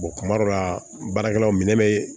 kuma dɔw la baarakɛlaw minɛ be